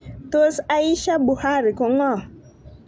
Tos Aisha Buhari ko ng'o?